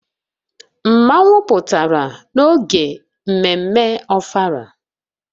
Mmanwu pụtara n'oge mmemme ofala